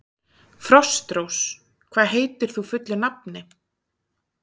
Frostrós, hvað heitir þú fullu nafni?